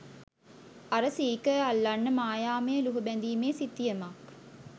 අර සීකර් අල්ලන්න මායාමය ලුහුබැඳිමේ සිතියමක්